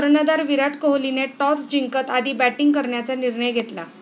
कर्णधार विराट कोहलीने टॉस जिंकत आधी बॅटींग करण्याचा निर्णय घेतला.